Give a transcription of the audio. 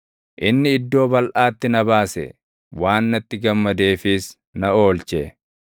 Inni iddoo balʼaatti na baase; waan natti gammadeefis na oolche.